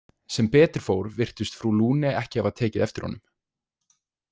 Sem betur fór virtist frú Lune ekki hafa tekið eftir honum.